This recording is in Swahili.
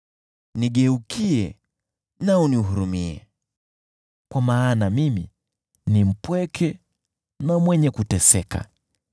Nigeukie na unihurumie, kwa maana mimi ni mpweke na mwenye kuteseka.